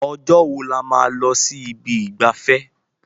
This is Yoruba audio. Ọjọ́ wo là máa lọ sí ibi ìgbafẹ́?